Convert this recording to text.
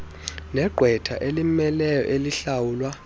negqwetha elimmeleyo elihlawulwa